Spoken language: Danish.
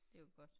Det var godt